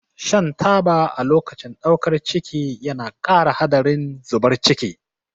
Shan taba a lokacin ɗaukar ciki yana ƙara haɗarin zubar ciki.